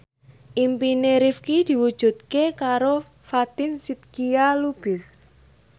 impine Rifqi diwujudke karo Fatin Shidqia Lubis